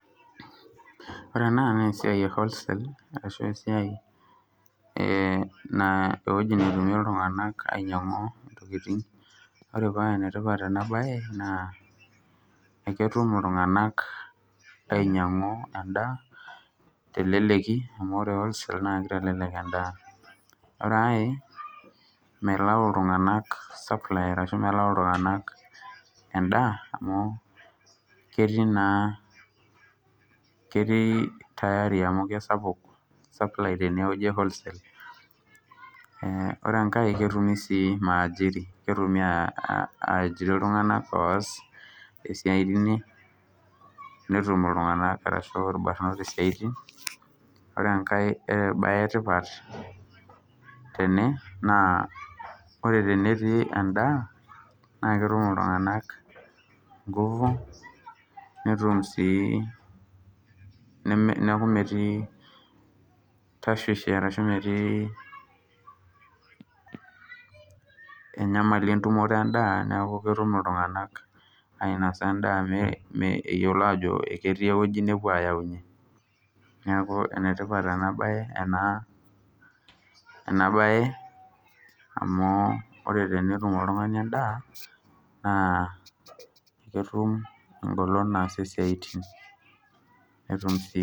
Ore enewueji naa ewueji ewholesale ashu ewueji nainyiangunyie iltunganak ntokitin . Ore paa enetipat enabae naa eketum iltunganak ainyiangu endaa teleleki amu ore wholeale naa melayu iltunganak supply ashumelayu iltunganaka endaa amu ketii naa tayari amu kesapuk supply amu kesapuk enewueji ewholesale. Ore enkae , ketumi aajiri iltunganak oas esiai teine , netum irbanot ahu iltunganak isiatin . Ore enkae bae etipat tene naa ore tenetii endaa naa ketum iltuganak inguvu niaku metii tashwishi ashu metii enyamali entumoto endaa niaku ketum iltunganak ainosa endaa eyiolo ajo ketii ewueji nepuo ayaunyie . Niaku enetipat enabae amu ore tenetum oltungani endaa naa ketum engolon naasie siatin.